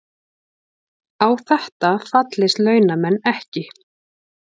Á þetta fallist launamenn ekki